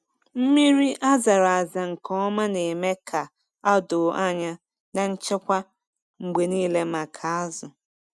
Mmiri a zara aza nke ọma na-eme ka a doo anya na nchekwa mgbe niile maka azụ.